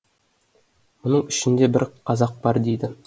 мұның ішінде бір қазақ бар дейді